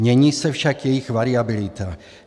Mění se však jejich variabilita.